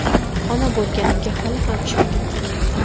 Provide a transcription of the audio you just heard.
Ona bo‘lganimga hali ham ishongim kelmaydi.